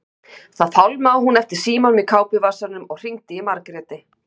Þá fálmaði hún eftir símanum í kápuvasanum og hringdi í Margréti.